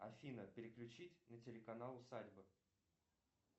афина переключить на телеканал усадьба